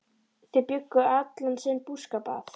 Þau bjuggu allan sinn búskap að